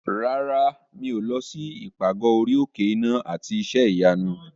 Rárá, mi ò lọ sí ìpàgọ́ orí òkè iná àti iṣẹ́ ìyanu.